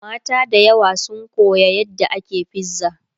mata da yawa sun Koya yadda ake fiza